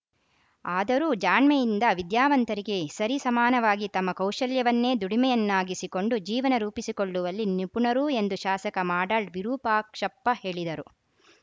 ಆದರೂ ಜಾಣ್ಮೆಯಿಂದ ವಿದ್ಯಾವಂತರಿಗೆ ಸರಿ ಸಮಾನವಾಗಿ ತಮ್ಮ ಕೌಶಲ್ಯವನ್ನೇ ದುಡಿಮೆಯನ್ನಾಗಿಸಿ ಕೊಂಡು ಜೀವನ ರೂಪಿಸಿಕೊಳ್ಳುವಲ್ಲಿ ನಿಪುಣರು ಎಂದು ಶಾಸಕ ಮಾಡಾಳ್‌ ವಿರೂಪಾಕ್ಷಪ್ಪ ಹೇಳಿದರು